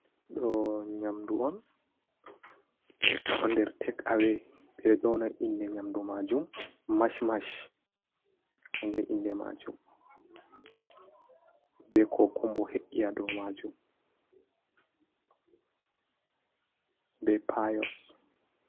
Ɗo nyamdu on ɗo nder tek awe ɓeɗo yona inde nyamdu majum mash mash kanjum inde majum be ko kumbo he’i ha dou majum be payos.